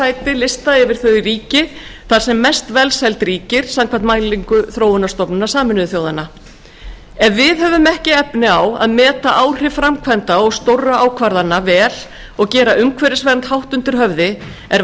á lista yfir þau ríki þar sem mest velsæld ríkir samkvæmt mælingu þróunarstofnunar sameinuðu þjóðanna ef við höfum ekki efni á að meta áhrif framkvæmda og stórra ákvarðana vel og gera umhverfisvernd hátt undir höfði er